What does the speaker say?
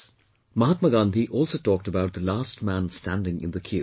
Mahatma Gandhi also talked about the last man standing in the queue